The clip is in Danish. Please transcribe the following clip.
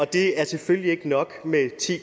det er selvfølgelig ikke nok med ti